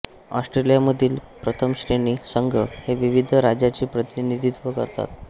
ऑस्ट्रेलियामधील प्रथमश्रेणी संघ हे विविध राज्याचे प्रतिनिधित्व करतात